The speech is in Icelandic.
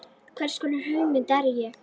Hvers konar hugmynd er ég?